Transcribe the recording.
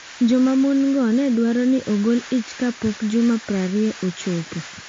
Joma mon-go ne dwaro ni ogol ich kapok juma 20 ochopo.